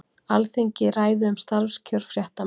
Alþingi ræði um starfskjör fréttamanna